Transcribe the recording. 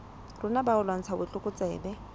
rona ba ho lwantsha botlokotsebe